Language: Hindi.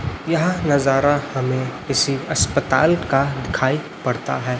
यह नजारा हमें किसी अस्पताल का दिखाई पड़ता है।